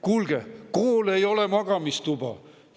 " Kuulge, kool ei ole magamistuba.